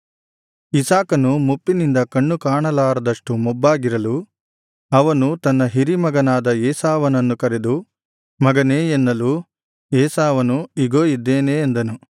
ಇಸಾಕನು ಮುಪ್ಪಿನಿಂದ ಕಣ್ಣು ಕಾಣಲಾರದಷ್ಟು ಮೊಬ್ಬಾಗಿರಲು ಅವನು ತನ್ನ ಹಿರೀಮಗನಾದ ಏಸಾವನನ್ನು ಕರೆದು ಮಗನೇ ಎನ್ನಲು ಏಸಾವನು ಇಗೋ ಇದ್ದೇನೆ ಅಂದನು